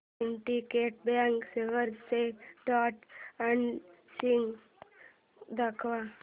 Syndicate bank shares चे trend analysis दाखव